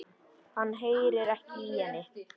Hann heyrir ekki í henni.